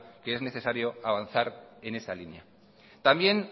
que es necesario avanzar en esa línea también